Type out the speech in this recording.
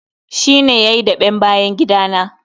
Shi ne yayi daɓen bayan gida na.